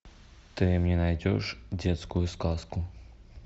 ты мне найдешь детскую сказку